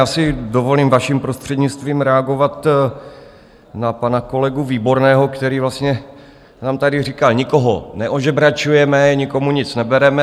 Já si dovolím, vaším prostřednictvím, reagovat na pana kolegu Výborného, který nám tady říkal: nikoho neožebračujeme, nikomu nic nebereme.